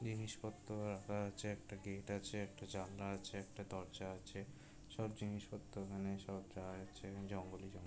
জিনিসপত্র রাখা আছে একটা গেট আছে একটা জানলা আছে একটা দরজা আছে সব জিনিসপত্র এখানে জঙ্গলে জঙ্গলে--